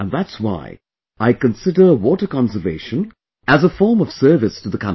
And that's why I consider water conservation as a form of service to the country